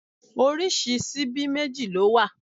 Oríṣi síbí méjì ló wà.